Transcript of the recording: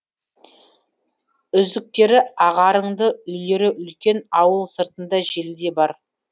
үзіктері ағарыңды үйлері үлкен ауыл сыртында желі де бар